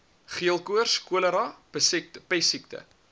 geelkoors cholera pessiekte